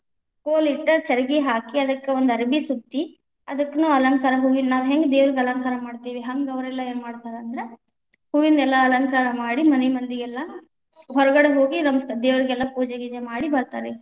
ಕೋಲ ಇಟ್ಟ ಚರಗಿ ಹಾಕಿ ಅದಕ್ಕ ಒಂದ ಅರಬಿ ಸುತ್ತಿ, ಅದಕ್ಕನೂ ಅಲಂಕಾರ ಹೂವಿನ ನಾವ್‌ ಹೆಂಗ್‌ ದೇವರಿಗ ಅಲಂಕಾರ ಮಾಡ್ತೀವಿ ಹಂಗ ಒಂದ ಅವರೆಲ್ಲಾ ಏವ್‌ ಮಾಡ್ತಾರ ಅಂದ್ರ ಹೂವಿನೆಲ್ಲಾ ಅಲಂಕಾರ ಮಾಡಿ ಮನಿ ಮಂದಿಗೆಲ್ಲಾ ಹೊರಗಡೆ ಹೋಗಿ ನಮಸ್ತೆ, ದೇವರಿಗೆಲ್ಲಾ ಪೂಜೆ ಗೀಜೆ ಮಾಡಿ ಬತಾ೯ರ.